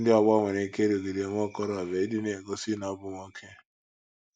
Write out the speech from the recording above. Ndị ọgbọ nwere ike ịrụgide nwa okorobịa ịdị na - egosi na ọ bụ nwoke.